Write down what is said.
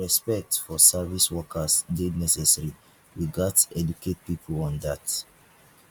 respect for service workers dey necessary we gats educate pipo on dat